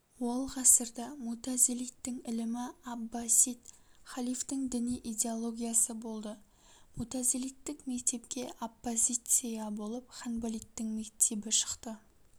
ол ғасырда мутазилиттің ілімі аббасид халифтің діни идеологиясы болды мутазилиттік мектепке оппозиция болып ханбалиттің мектебі шықты